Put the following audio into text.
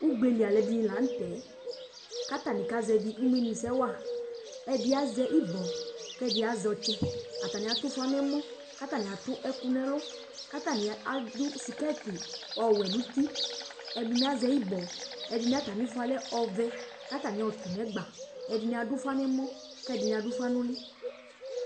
ugbeli Alu ɛdini la nu tɛ, ku ata ni kasɛvi umenu sɛ wa, ɛdi azɛ ibɔ ku ɛdi azɛ ɔtsɛ, ata atu ufa nu ɛmɔ ku ata atu ɛku nu ɛlu, ku ata ni adu sikɛti ɔwɛ nu uti, ɛdini azɛ ibɔ, edini ata mi ifɔ yɛ lɛ ɔvɛ ku ata ni ɔtu nu egba , ɛdini adu ufa nu ɛmɔ ku ɛdi adu ufa nu uli